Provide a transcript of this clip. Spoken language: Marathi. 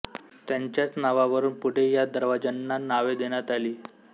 त्यांच्याच नावावरून पुढे या दरवाज्यांना नावे देण्यात आली